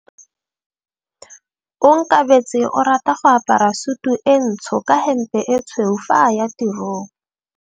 Onkabetse o rata go apara sutu e ntsho ka hempe e tshweu fa a ya tirong.